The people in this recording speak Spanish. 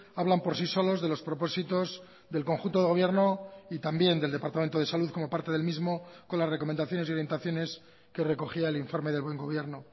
hablan por sí solos de los propósitos del conjunto de gobierno y también del departamento de salud como parte del mismo con las recomendaciones y orientaciones que recogía el informe del buen gobierno